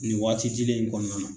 Nin waati dilen in kɔnɔna na